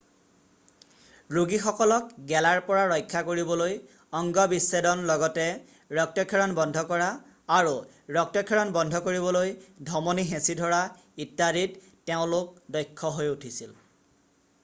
ৰোগীসকলক গেলাৰ পৰা ৰক্ষা কৰিবলৈ অঙ্গ বিচ্ছেদন লগতে ৰক্তক্ষৰণ বন্ধ কৰা আৰু ৰক্তক্ষৰণ বন্ধ কৰিবলৈ ধমনী হেঁচি ধৰা ইত্যাদিত তেওঁলোক দক্ষ হৈ উঠিছিল